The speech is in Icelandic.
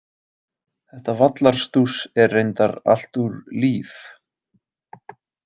Þetta vallarstúss er reyndar allt úr Líf.